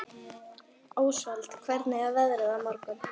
Ósvald, hvernig er veðrið á morgun?